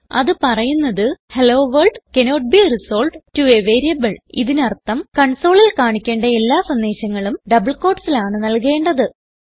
അത് പറയുന്നത് hello world cannot be resolved to a variable ഇതിനർത്ഥം കൺസോളിൽ കാണിക്കേണ്ട എല്ലാ സന്ദേശങ്ങളും ഡബിൾ quotesൽ ആണ് നൽകേണ്ടത്